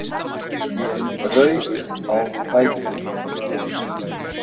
Ég rauk á fætur.